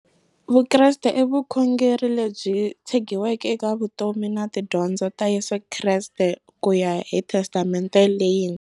Vukreste i vukhongeri lebyi tshegiweke eka vutomi na tidyondzo ta Yesu Kreste kuya hi Testamente leyintshwa.